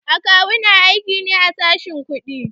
A kawu na aiki ne a sashen kuɗi.